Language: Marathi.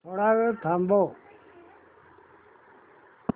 थोडा वेळ थांबव